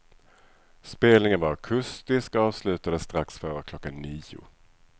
Spelningen var akustisk och avslutades strax före klockan nio.